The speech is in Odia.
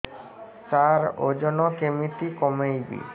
ସାର ଓଜନ କେମିତି କମେଇବି